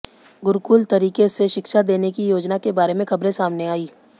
गुरुकुल तरीके से शिक्षा देने की योजना के बारे में खबरें सामने आईं